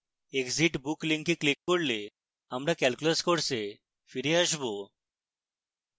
exit book link click করলে আমরা calculus course ফিরে আসবো